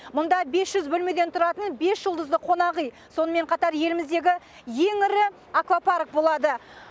мұнда бес жүз бөлмеден тұратын бес жұлдызды қонақүй сонымен қатар еліміздегі ең ірі аквапарк болады